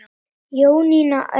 Jónína Auður.